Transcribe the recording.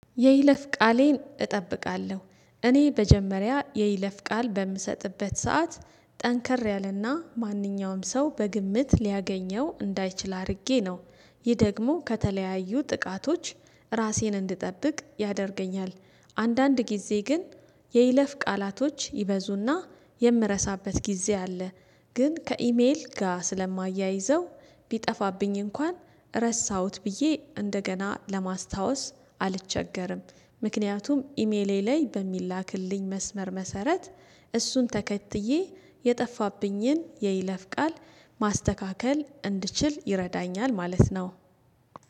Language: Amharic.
የይለፍ ቃሌን እጠብቃለሁ እኔ በመጀመሪያ የይለፍ ቃል በምሰጥበት ሰዓት ጠንከር ያለና ማንኛውም ሰው በግምት ሊያገኘው እንዳይችል አድርጌ ነው። ይህ ደግሞ ከተለያዩ ጥቃቶች ራሴን እንድጠብቅ ያደርገኛል። አንዳንድ ጊዜ ግን የይለፍ ቃላቶች ይበዙና የምረሳበት ጊዜ አለ። ግን ከኢሜል ጋር ስለማያይዘው ቢጠፋብኝ እንኳን ረሳሁት ብዬ እንደገና ስለማስታወስ አልቸገርም። ምክንያቱም ኢሜሌ ላይ በሚላክልኝ መስመር መሰረት እሱን ተከትዬ የጠፋብኝን የይለፍ ቃል ማስተካከል እንድችል ይረዳኛል ማለት ነው።